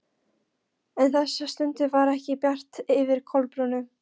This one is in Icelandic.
En þessa stundina var ekki bjart yfir Kolbrúnu.